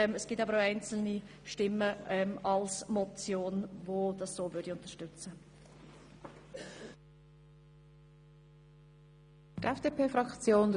Es gibt jedoch auch einzelne, die eine Motion unterstützen würden.